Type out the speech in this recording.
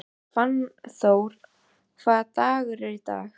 Fannþór, hvaða dagur er í dag?